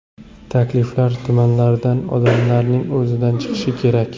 Takliflar tumanlardan, odamlarning o‘zidan chiqishi kerak.